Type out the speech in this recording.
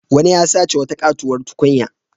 Wani ya sace wata katuwar tukunya.